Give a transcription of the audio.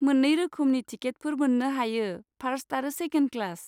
मोन्नै रोखोमनि टिकेटफोर मोन्नो हायो, फार्स्ट आरो सेकेन्ड क्लास।